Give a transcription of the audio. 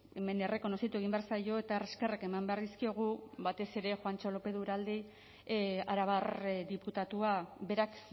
hemen errekonozitu egin behar zaio eta eskerrak eman behar dizkiogu batez ere juantxo lopez de uralde arabar diputatua berak